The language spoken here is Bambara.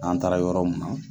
N'an taara yɔrɔ mun na